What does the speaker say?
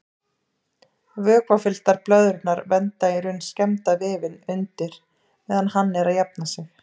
Vökvafylltar blöðrurnar vernda í raun skemmda vefinn undir meðan hann er að jafna sig.